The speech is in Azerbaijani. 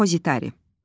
Depozitari.